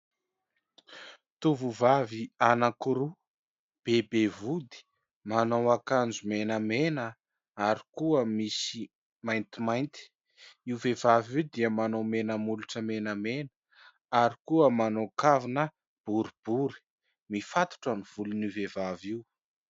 Tovovavy anankiroa, be be vody, manao akanjo menamena ary koa misy maintimainty. Io vehivavy io dia manao mena molotra menamena ary koa manao kavina boribory, mifatotra ny volon'io vehivavy io.